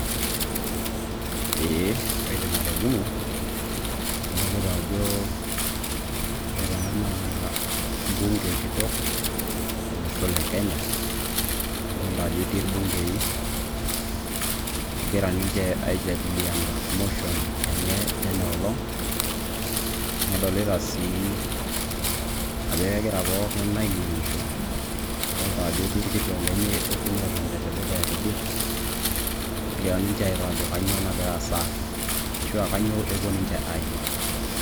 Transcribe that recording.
Eeeh kaidim atolimu, adolita ajo ore ena naa bunge kitok o losho le Kenya, nadolta ajo etii irbungei egira ninje aijadiliana motion eney ena olong', nadolita sii ajo egira pookin anining'isho, nadolta ajo egira irkituak lenye okuni otonita te dukuya tidie negira ninje airo ajo kanyo nagira aasa ashu aa kanyo epuo ninje aimaki.